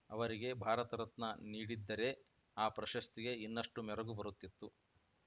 ಅವರಿಗೆ ಭಾರತರತ್ನ ನೀಡಿದ್ದರೆ ಆ ಪ್ರಶಸ್ತಿಗೇ ಇನ್ನಷ್ಟುಮೆರಗು ಬರುತ್ತಿತ್ತು